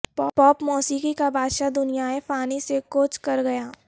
پاپ موسیقی کا بادشاہ دنیائے فانی سے کوچ کر گیا